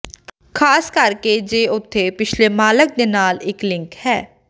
ਖ਼ਾਸ ਕਰਕੇ ਜੇ ਉਥੇ ਪਿਛਲੇ ਮਾਲਕ ਦੇ ਨਾਲ ਇੱਕ ਲਿੰਕ ਹੈ